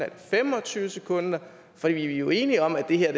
det fem og tyve sekunder for vi er jo enige om at det her